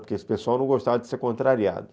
Porque esse pessoal não gostava de ser contrariado.